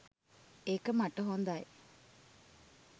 ඒක මට හොඳයි.